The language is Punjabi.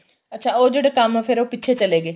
ਅੱਛਾ ਉਹ ਜਿਹੜੇ ਕੰਮ ਫੇਰ ਉਹ ਪਿੱਛੇ ਚਲੇ ਗਏ